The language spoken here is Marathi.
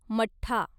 मठ्ठा